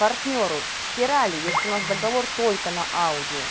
партнёру схерали если у вас договор только на аудио